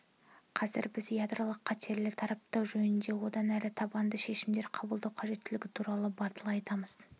қазір біз ядролық қатерді таратпау жөнінде одан әрі табанды шешімдер қабылдау қажеттілігі туралы батыл айтамыз